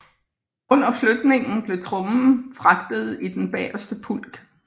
Under flytning blev trommen fragtet i den bagerste pulk